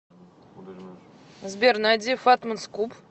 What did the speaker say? сбер найди фатман скуп